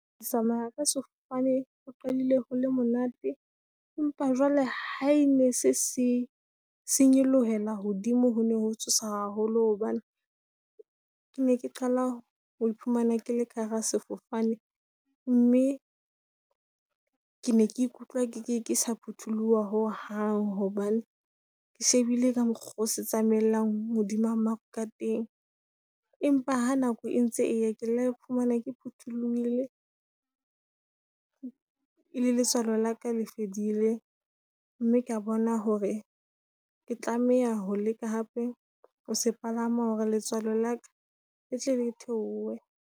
Ho tsamaya ka sefofane ho qadile ho le monate, empa jwale ha e ne se se se nyolohelang hodimo ho ne ho tshosa haholo. Hobane ke ne ke qala ho iphumana ke le ka hara sefofane. Mme ke ne ke ikutlwa ke sa phutoloha ho hang, hobane ke shebile ka mokgwa oo se tsamaellang ho dima maru ka teng. Empa ha nako e ntse eya ke la iphumana ke phuthulohile , le letswalo la ka le fedile. Mme ke a bona hore ke tlameha ho leka hape ho se palama, hore letswalo la ka le tle le theohe.